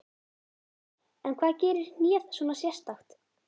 En hvað gerir hnéð svona sérstakt?